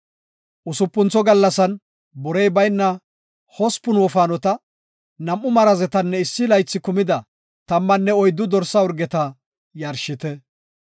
“Usupuntho gallasan borey bayna hospun wofaanota, nam7u marazetanne issi laythi kumida tammanne oyddu dorsa urgeta yarshite.